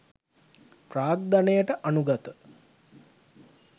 ප්‍රාග්ධනයට අනුගත